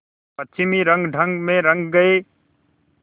पश्चिमी रंगढंग में रंग गए